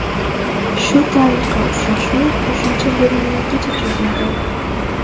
Shu tariqa uchrashuv qo‘shimcha bo‘limlargacha cho‘zildi.